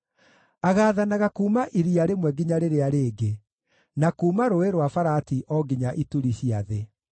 Agaathanaga kuuma iria rĩmwe nginya rĩrĩa rĩngĩ, na kuuma Rũũĩ rwa Farati o nginya ituri cia thĩ.